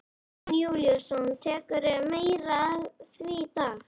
Jón Júlíus: Tekurðu meira á því í dag?